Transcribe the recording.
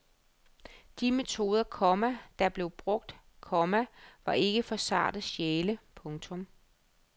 De metoder, komma der blev brugt, komma var ikke for sarte sjæle. punktum